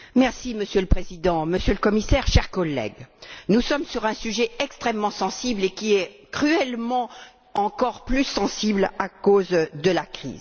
Monsieur le Président, Monsieur le Commissaire, chers collègues, nous sommes sur un sujet extrêmement sensible et qui est cruellement encore plus sensible à cause de la crise.